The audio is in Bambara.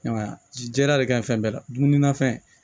I m'a ye a ji jɛra de ka ɲi fɛn bɛɛ la dumuni na fɛn